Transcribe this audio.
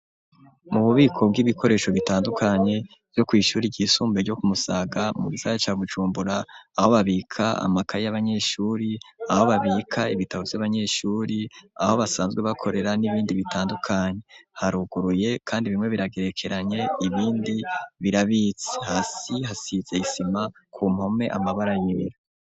mu bubiko bw'ibikoresho bitandukanye ryo kw'ishure ry'isunbuye ryo kumusaga mu gisagara ca bujumbura aho babika amakaye y'abanyeshure aho babika ibitabo vy'abanyeshure aho basanzwe bakorera n'ibindi bitandukanye haruguruye kandi bimwe biragerekeranye ibindi birabitse, hasi hasize isima ku mpome amabara yera.